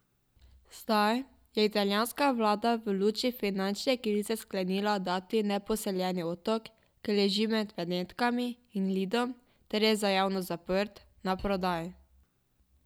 Zdaj je italijanska vlada v luči finančne krize sklenila dati neposeljeni otok, ki leži med Benetkami in Lidom ter je za javnost zaprt, na prodaj.